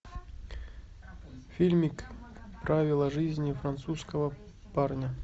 фильмик правила жизни французского парня